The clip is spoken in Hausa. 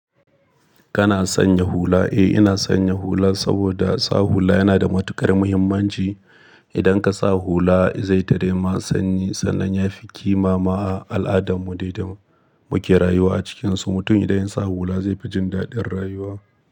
Kana sanya hula? Eh, ina sanya hula saboda sa hula yana da matuƙar muhimmanci. Idan ka sa hula zai tare ma sanyi sannan ya fi kima ma a al'adarmu dai da muke rayuwa a cikin su. Mutum idan ya sa hula zai fi jin daɗin rayuwa.